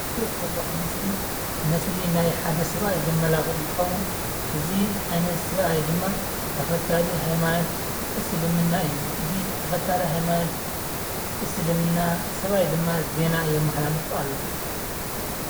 ኣብዚ ዝሪኦ ዘለኩ ምስሊ፦ ምስሊ ናይ ሓደ ሰብኣይ እንትከውን፣ እዚ ዓይነት ሰብኣይ ድማ ተከታሊ ሃይማኖት እስልምና እዩ። እዚ ተከታሊ ሃይማኖት እስልምና ስብኣይ ድማ ዜና የመሓላልፍ ኣሎ።